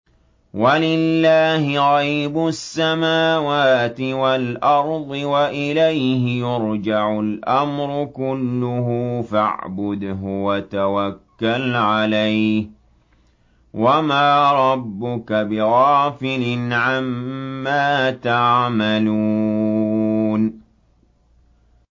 وَلِلَّهِ غَيْبُ السَّمَاوَاتِ وَالْأَرْضِ وَإِلَيْهِ يُرْجَعُ الْأَمْرُ كُلُّهُ فَاعْبُدْهُ وَتَوَكَّلْ عَلَيْهِ ۚ وَمَا رَبُّكَ بِغَافِلٍ عَمَّا تَعْمَلُونَ